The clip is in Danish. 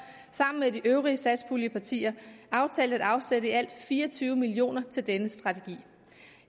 sammen med de øvrige satspuljepartier aftalt at afsætte i alt fire og tyve million kroner til denne strategi